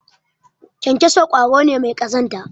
kyankyaso kwaro ne mai kazanta